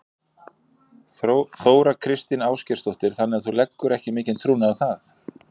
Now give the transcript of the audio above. Þóra Kristín Ásgeirsdóttir: Þannig að þú leggur ekki mikinn trúnað á það?